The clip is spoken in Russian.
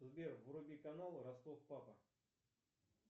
сбер вруби канал ростов папа